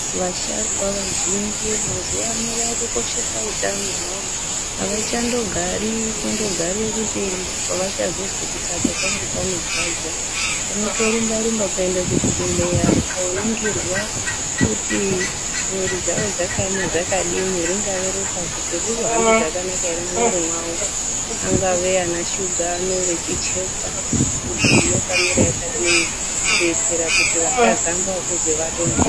Vasharukwa vazhinji mazuwa ano vakukoshesa utano hwavo. Avachandogari kundogare kuti pavachazozwa kuti apa pangu panorwadza. Vanotorumba rumba kuenda kuzvibhendleya kooringirwa kuti mwiri dzavo dzakaema dzakadini. Ringave ropa kuti rinohamba zvakanaka ere mumwiri mwavo. Angave ana shuga kuchekwa kuti yakamira akadini kuitira kuti vasazoamba kuzwi vadonha.